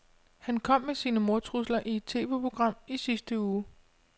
Han kom med sine mordtrusler i et TVprogram i sidste uge.